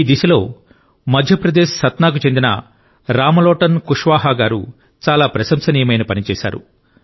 ఈ దిశలో మధ్యప్రదేశ్కు చెందిన సత్నాకు చెందిన రామ్లోటన్ కుష్వాహా గారు చాలా ప్రశంసనీయమైన పని చేశారు